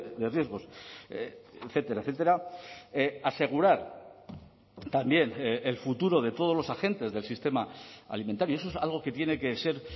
de riesgos etcétera etcétera asegurar también el futuro de todos los agentes del sistema alimentario eso es algo que tiene que ser